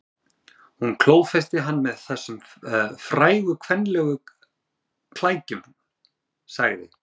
Hún klófesti hann með þessum frægu kvenlegu klækjum, sagði